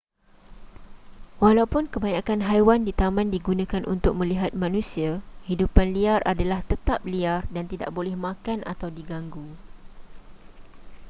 walaupun kebanyakan haiwan di taman digunakan untuk melihat manusia hidupan liar adalah tetap liar dan tidak boleh makan atau diganggu